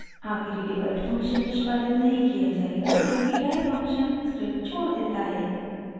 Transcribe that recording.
आखिरी divide function निष्पादित नहीं किया जायेगा क्योंकि die फंक्शन स्क्रिप्ट छोड़ देता है